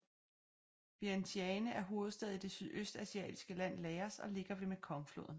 Vientiane er hovedstad i det sydøstasiatiske land Laos og ligger ved Mekongfloden